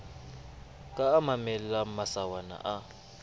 ka a mamellang masawana a